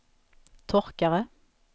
torkare